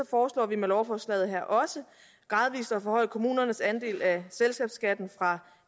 foreslår vi med lovforslaget her også gradvist at forhøje kommunernes andel af selskabsskatten fra